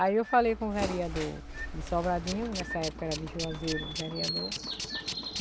Aí eu falei com o vereador de Sobradinho, nessa época era de Juazeiro o vereador.